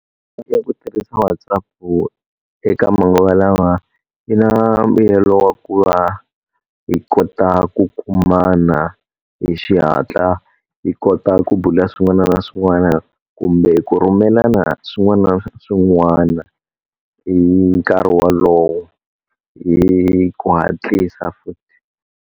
Ku tirhisa WhatsApp eka manguva lawa yi na mbuyelo wa ku va hi kota ku kumana hi xihatla, hi kona kota ku bula swin'wana na swin'wana kumbe ku rhumelana swin'wana na swin'wana hi nkarhi wolowo, hi ku hatlisa futhi.